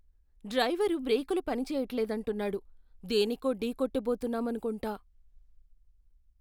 Driver బ్రేకులు పని చెయ్యట్లేదంటున్నాడు. దేనికో ఢీకొట్ట బోతున్నాం అనుకుంటా.